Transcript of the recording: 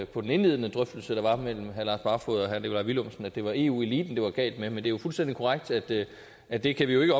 på den indledende drøftelse der var mellem herre lars barfoed og herre nikolaj villumsen at det var eu eliten det var galt med men det er jo fuldstændig korrekt at det at det kan vi jo ikke